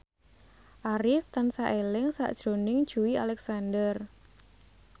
Arif tansah eling sakjroning Joey Alexander